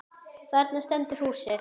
Þarna stendur húsið.